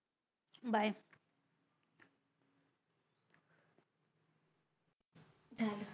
Bye